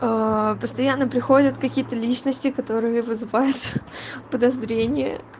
постоянно приходят какие-то личности которые вызывают подозрение